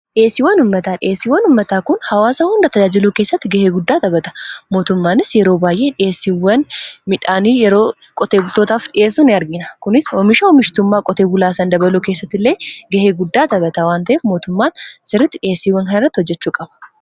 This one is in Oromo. Dhihessiwwan ummataa dhiheessiwwan ummataa kun hawaasa hunda tajaajiluu keessatti gahee guddaa taphata mootummaanis yeroo baay'ee dhihesiiwwan midhaanii yeroo qotee bultootaaf dhiheessuu in argina kunis oomisha oomishtummaa qotee bulaasan dabaluu keessatti illee gahee guddaa tabata waanta'ef mootummaan sirritti dhiheesiiwwan kana irratti hojjechuu qaba